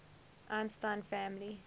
einstein family